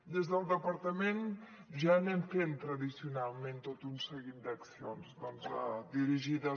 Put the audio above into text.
des del departament ja anem fent tradicionalment tot un seguit d’accions doncs dirigides